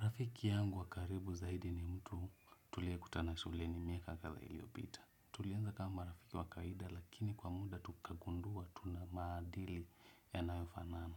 Rafiki yangu wakaribu zaidi ni mtu tuliekutana shuleni miaka katha iliopita. Tulianza kama marafiki wakaida lakini kwa muda tukagundua tuna maadili yanayofanana